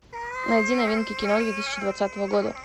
найди новинки кино две тысячи двадцатого года